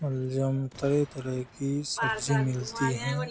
तरह- तरह की सब्जी मिलती है।